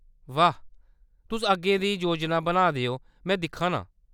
बाह्‌‌, तुस अग्गें दी योजना बनाऽ दे ओ में दिक्खा नां।